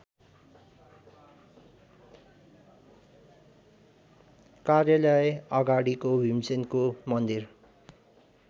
कार्यालयअगाडिको भिमसेनको मन्दिर